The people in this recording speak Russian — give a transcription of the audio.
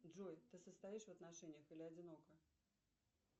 джой ты состоишь в отношениях или одинок